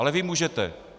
Ale vy můžete.